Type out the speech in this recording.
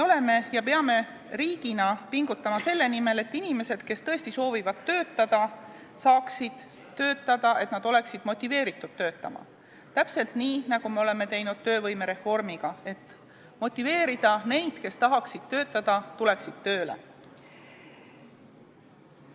Me peame riigina pingutama selle nimel, et inimesed, kes tõesti soovivad töötada, saaksid töötada, et nad oleksid motiveeritud töötama, täpselt nii, nagu me oleme teinud töövõimereformiga, motiveerides neid, kes tahaksid töötada, tööle tulema.